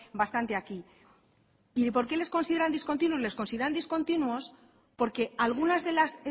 bastante aquí y por qué les consideran discontinuos les consideran discontinuos porque algunas de las